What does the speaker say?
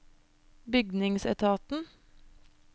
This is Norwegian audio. bygningsetaten